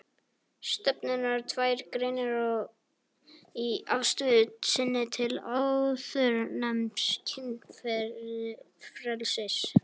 Stefnurnar tvær greinir á í afstöðu sinni til áðurnefnds kynfrelsis.